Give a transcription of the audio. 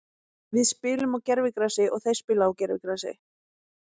Við spilum á gervigrasi og þeir spila á gervigrasi.